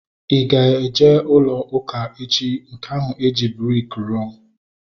I ga-eje ụlọ ụka echi? Nke eji briki rụọ